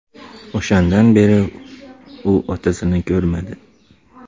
O‘shandan beri u otasini ko‘rmadi.